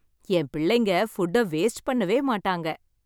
என் பிள்ளைங்க ஃபுட்ட வேஸ்ட் பண்ணவே மாட்டாங்க.